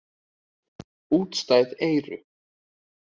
Útstæð eyru.